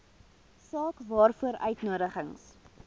saak waaroor uitnodigings